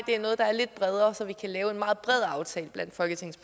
det er noget der er lidt bredere så vi kan lave en meget bred aftale blandt folketingets